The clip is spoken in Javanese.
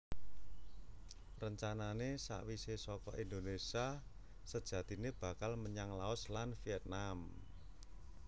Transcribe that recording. Rencanané sawisé saka Indonésia sajatiné bakal menyang Laos lan Viètnam